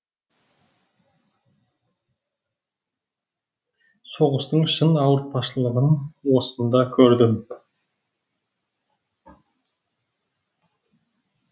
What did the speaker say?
соғыстың шын ауыртпашылығын осында көрдім